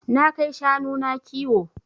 Na kai shanu na kiwo.